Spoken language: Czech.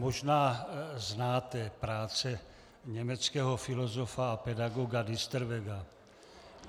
Možná znáte práce německého filozofa a pedagoga Diesterwega.